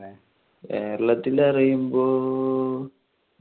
കേരളത്തിൽ എന്ന് പറയുമ്പോൾ